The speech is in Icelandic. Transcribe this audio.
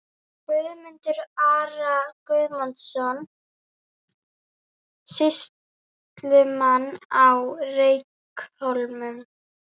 Guðmundar, Ara Guðmundsson, sýslumann á Reykhólum.